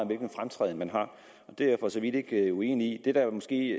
hvilken fremtræden man har det er jeg for så vidt ikke uenig i det der måske